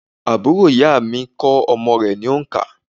Àbúrò ìyá à mi kó omo rè ní ònkà